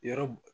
Yɔrɔ